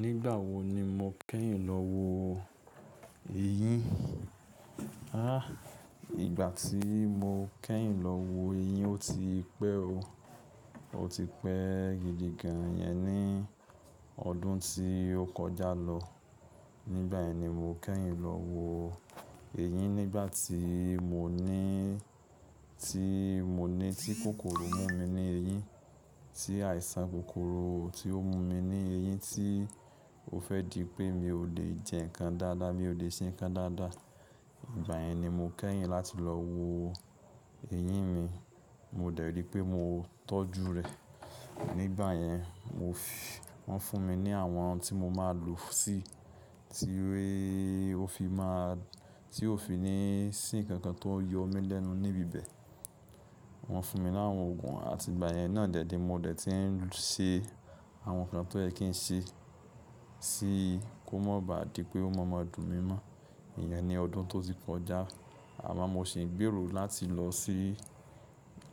Nígbà wo ni mo kẹ́yìn lọ wo eyín? Háà, ìgbà tí mo kẹ́yìn lọ wo eyín ó ti pẹ́ o. Ó ti pẹ́ gidi gan yẹn ní ọdún tí ó kọjá lọ. Nígbà yẹn ni mo kẹ́yìn lọ wo eyín nígbà tí mo ní, tí mo ní tí kòkòrò mú mi ní eyín, tí àìsàn kòkòrò tí ó mú mi ní eyín tí ó fẹ́ di pé mi ò lè jẹ nǹkan dáadáa, mi ò lè se nǹkan dáadáa. Ìgbà yẹn ni mo kẹ́yìn láti lọ wo eyín mi. Mo dẹ̀ rí i pé mo tọ́jú rẹ̀. Nígbà yẹn wọ́n fún mi ní àwọn ohun tí mo máa lò sí i, tí ó fi máa, tí ó fi ní sì nkankan tó yọ mí lẹ́nu níbi bẹ. Wọ́n fún mi láwọn òògùn àti ìgbà yẹn náà dẹ̀ ní mo dẹ̀ ti ń ṣe àwọn nǹkan tó yẹ kí n ṣe, sí kò mọ̀ bá di pé ó maa ma dún mí mọ́. Ìyẹn ni ọdún tó ti kọjá. Àmọ́ mo sì ń gbèrò láti lọ sí,